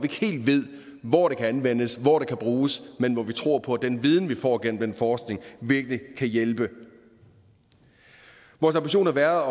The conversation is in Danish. helt ved hvor kan anvendes og bruges men hvor vi tror på at den viden vi får gennem den forskning virkelig kan hjælpe vores ambition har været